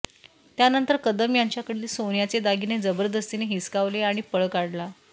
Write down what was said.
त्यानंतर कदम यांच्याकडील सोन्याचे दागिने जबरदस्तीने हिसकावले आणि पळ काढला